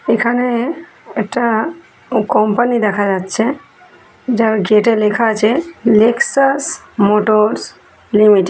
এখানে একটা ও কোম্পানি দেখা যাচ্ছে। যার গেট -এ লেখা আছে লেকসাস মোটরস লিমিটেড ।